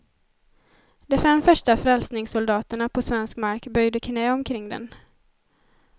De fem första frälsningssoldaterna på svensk mark böjde knä omkring den.